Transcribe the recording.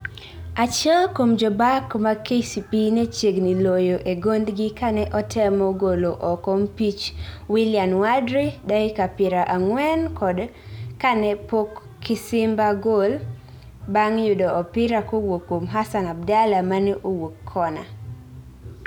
Achiel kuom jobak mag KCB ne chiegni loyo e gondgi kane otemo golo oko mpich Wilian Wadri dakika pira angwen kane pok Kasimba gol bang yudo opira kowuok kuom Hassan Abdalla mane owuok kona